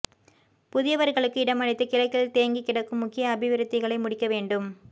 புதியவர்களுக்கு இடமளித்து கிழக்கில் தேங்கிக் கிடக்கும் முக்கிய அபிவிருத்திகளை முடிக்க வேண்டும்